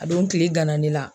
A don kile gan na ne la.